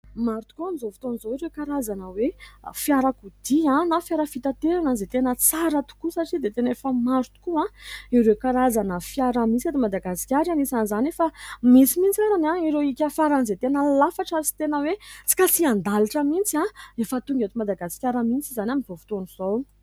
Maro tokoa amin'izao fotoana izao ireo karazana hoe fiarakodia na fiara fitaterana izay tena tsara tokoa satria dia tena efa maro tokoa ireo karazana fiara misy eto Madagasikara. Anisan'izany, efa misy mihitsy ary ireo hika faran'izay tena lafatra ary tena hoe tsy kasihan-dalitra mihitsy. Efa tonga eto Madagasikara mihitsy izany amin'izao fotoana izao.